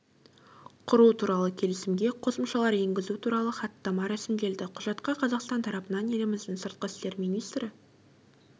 құру туралы келісімге қосымшалар енгізу туралы хаттама рәсімделді құжатқа қазақстан тарапынан еліміздің сыртқы істер министрі